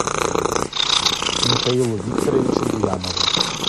михаилу викторовичу буянову